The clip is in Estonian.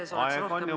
Aeg on juba ammu läbi!